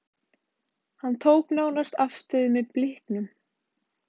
Hann tók nánast afstöðu með Blikum, varla að við fengjum aukaspyrnu í seinni hálfleiknum.